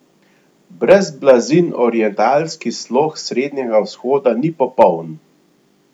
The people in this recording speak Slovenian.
Brez blazin orientalski slog Srednjega vzhoda ni popoln!